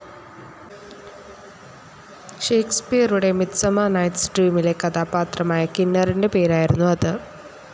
ഷേക്സ്പിയറുടെ midsummer night's ഡ്രീമിലെ കഥാപാത്രമായ കിന്നറിൻ്റെ പേരായിരുന്നു അത്.